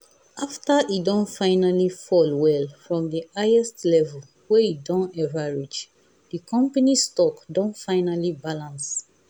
after e don fall well from the highest level wey e don ever reach the company stock don finally balance.